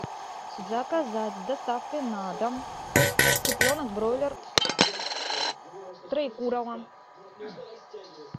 заказать с доставкой на дом цыпленок бройлер троекурово